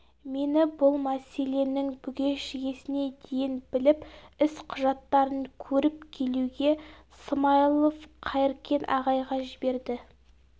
мені бұл мәселенің бүге-шігесіне дейін біліп іс құжаттарын көріп келуге смайлов қайыркен ағайға жіберді